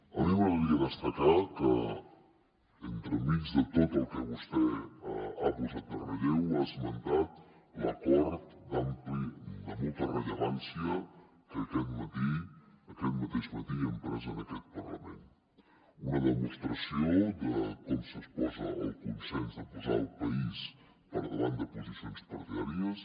a mi m’agradaria destacar que entremig de tot el que vostè ha posat en relleu ha esmentat l’acord ampli de molta rellevància que aquest matí aquest mateix matí hem pres en aquest parlament una demostració de com s’exposa el consens de posar el país per davant de posicions partidàries